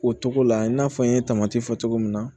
O togo la i n'a fɔ n ye tamati fɔ cogo min na